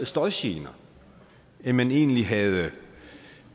støjgener end man egentlig havde